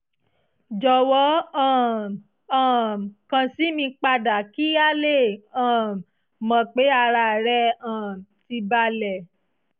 jọ̀wọ́ um um kàn sí mi padà kí a lè um mọ̀ pé ara rẹ um ti balẹ̀